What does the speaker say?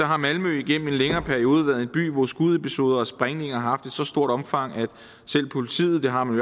har malmø igennem en længere periode været en by hvor skudepisoder og sprængninger har så stort omfang at selv politiet det har man